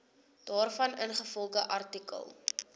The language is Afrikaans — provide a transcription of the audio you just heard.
daarvan ingevolge artikel